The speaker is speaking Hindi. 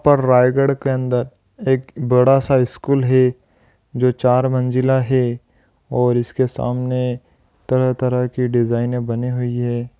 रायगढ़ के अंदर एक बड़ा सा स्कूल हे जो चार मंजिला हे और इसके सामने तरह-तरह के डिजाइने बनी हुयी है।